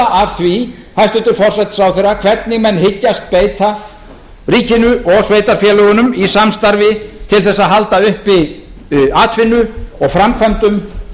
af því hæstvirtur forsætisráðherra hvernig menn hyggjast beita ríkinu og sveitarfélögunum í samstarfi til að halda uppi atvinnu og framkvæmdum